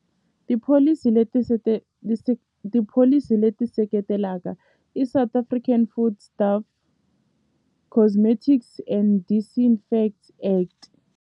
Tipholisi leti tipholisi leti seketelaka i South African Food Staff Cosmetics and Disinfect Act.